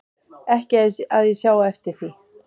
Ekki að ég sjái eftir því